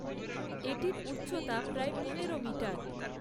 এটির উচ্চতা প্রায় পনেরো মিটার।